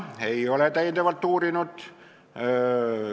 Ei ole seda täiendavalt uurinud.